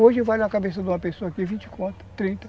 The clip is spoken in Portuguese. Hoje vale a uma cabeça de uma pessoa aqui vinte conto, trinta.